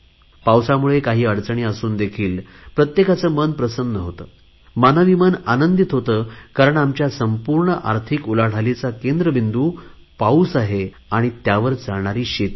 पावसामुळे काही अडचणी असून देखील प्रत्येकाचे मन प्रसन्न होते मानवी मन आनंदित होते कारण आमच्या संपूर्ण आर्थिक उलाढालीचा केंद्र बिंदू पाऊस आहे आणि त्यावर चालणारी शेती आहे